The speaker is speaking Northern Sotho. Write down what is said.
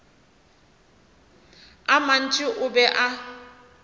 a mantši o be a